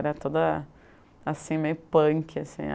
Era toda assim, meio punk assim.